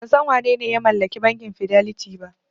Ban san wanene ya mallaki bankin Fidelity ba.